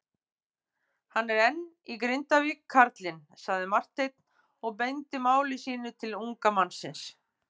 Hann er enn í Grindavík karlinn, sagði Marteinn og beindi máli sínu til unga mannsins.